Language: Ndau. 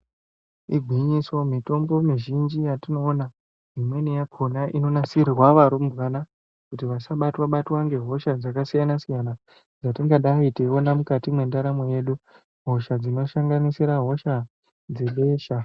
Igwinyiso mitombo mizhinji yatinoona imweni yakhona inonasirirwa varumbwana kuti vasabatwa -batwa ngehosha dzakasiyana- siyana dzatingadayi teiona mukati mwendaramo yedu hosha dzinosanganisira hosha dzebesha.